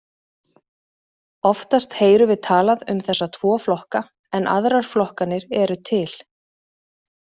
Oftast heyrum við talað um þessa tvo flokka en aðrar flokkanir eru til.